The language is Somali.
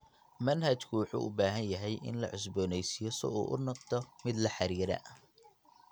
Manhajku wuxuu u baahan yahay in la cusboonaysiiyo si uu u noqdo mid la xidhiidha.